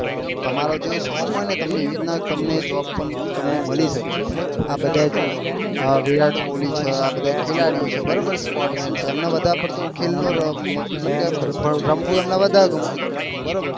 તમરો જેવો શોક હોય ને તમને એવી રીતના તમે જોબ પણ મળી સકે આ બધા જો વિરાટ કોહલી છે આ બધા ખીલાડીયો છે બરોબર છે સપોર્ટ મેન છે એમને વધાર પડતા ખેલ નું મતલબ કે રમવું એમને વધાર ગમતું હતું બરોબર